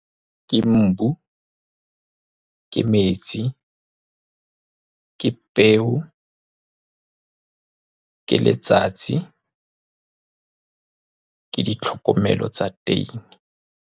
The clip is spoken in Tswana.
Ke mmu, ke metsi, ke peo, ke letsatsi, ke ditlhokomelo tsa teng.